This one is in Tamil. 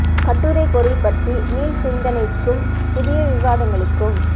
கட்டுரைப் பொருள் பற்றி மீள் சிந்தனைக்கும் புதிய விவாதங்களுக்கும்